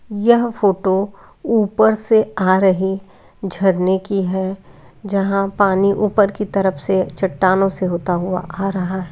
यह फोटो ऊपर से आ रही हैं झरने की है जहां पानी ऊपर की तरफ से चट्टानो से होता हुआ आ रहा है।